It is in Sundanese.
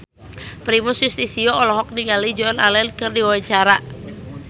Primus Yustisio olohok ningali Joan Allen keur diwawancara